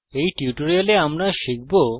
in tutorial আমরা শিখব